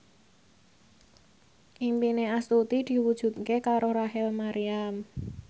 impine Astuti diwujudke karo Rachel Maryam